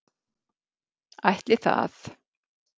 Ætli það!